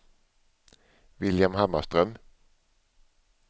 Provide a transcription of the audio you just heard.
William Hammarström